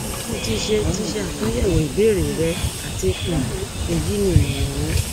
mo ti ṣe ti ṣe atunyẹwo ibeere rẹ ati um eyi ni imọran mi